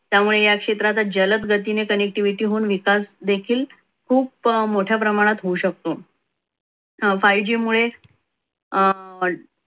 त्यामुळे या क्षेत्रात जलद गतीने connectivity होऊन विकास देखील खूप मोठ्या प्रमाणात होऊ शकतो five g मुळे,